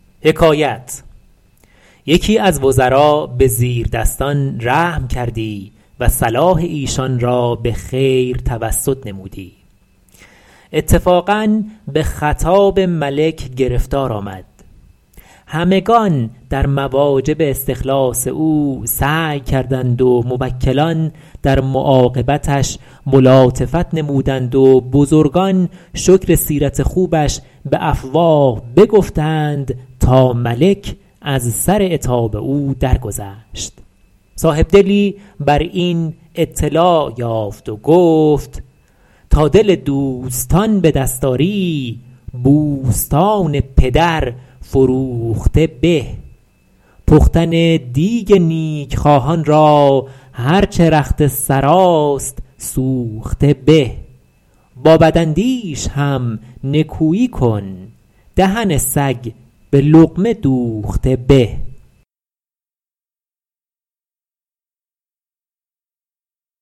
یکی از وزرا به زیردستان رحم کردی و صلاح ایشان را به خیر توسط نمودی اتفاقا به خطاب ملک گرفتار آمد همگنان در مواجب استخلاص او سعی کردند و موکلان در معاقبتش ملاطفت نمودند و بزرگان شکر سیرت خوبش به افواه بگفتند تا ملک از سر عتاب او درگذشت صاحبدلی بر این اطلاع یافت و گفت ﺗﺎ دل دوﺳﺘﺎن ﺑﻪ دﺳﺖ ﺁری ﺑﻮﺳﺘﺎن ﭘﺪر ﻓﺮوﺧﺘﻪ ﺑﻪ پختن دیگ نیکخواهان را هر چه رخت سراست سوخته به ﺑﺎ ﺑﺪاﻧﺪﻳﺶ هم ﻧﻜﻮﻳﻰ کن دهن ﺳﮓ ﺑﻪ ﻟﻘﻤﻪ دوﺧﺘﻪ ﺑﻪ